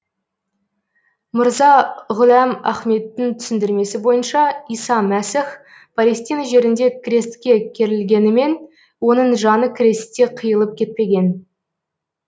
мырза ғұләм ахмедтің түсіндірмесі бойынша иса мәсіх палестина жерінде крестке керілгенімен оның жаны крестте қиылып кетпеген